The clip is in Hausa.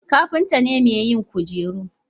kafinta ne mai yin kujeru